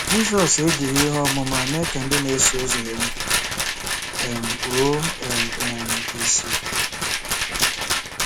Jizọs ejighị ihe ọmụma mee ka ndị na-eso ụzọ ya um kpuo um um ìsì.